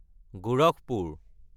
Gorakhpur